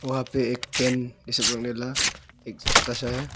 वहां पे एक पेन ये सब रकने वाला एक छोटा सा है।